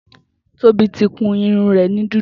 Tobi ti kún irún rẹ ni dúdú